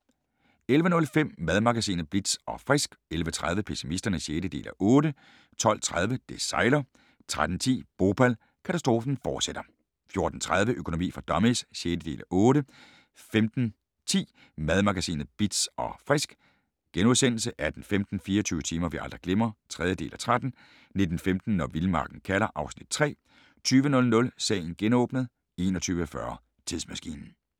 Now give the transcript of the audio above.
11:05: Madmagasinet Bitz & Frisk 11:30: Pessimisterne (6:8) 12:30: Det sejler 13:10: Bhopal – katastrofen fortsætter 14:30: Økonomi for dummies (6:8) 15:10: Madmagasinet Bitz & Frisk * 18:15: 24 timer vi aldrig glemmer (3:13) 19:15: Når vildmarken kalder (Afs. 3) 20:00: Sagen genåbnet 21:40: Tidsmaskinen